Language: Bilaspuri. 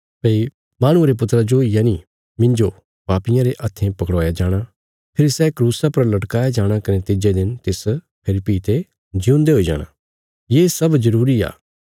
भई माहणुये रे पुत्रा जो यनि मिन्जो पापियां रे हत्थें पकड़वाया जाणा फेरी सै क्रूसा पर लटकाया जाणा कने तिज्जे दिन तिस फेरी भीं ते जिऊंदे हुई जाणा ये सब जरूरी आ